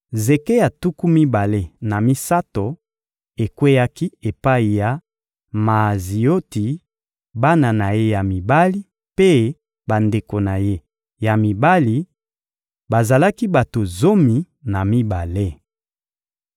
Zeke ya tuku mibale na misato ekweyaki epai ya Maazioti, bana na ye ya mibali mpe bandeko na ye ya mibali: bazalaki bato zomi na mibale.